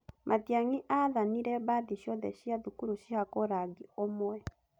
Matiangi athanire mbathi ciothe cia thukuru cihakwo rangi ũmwe.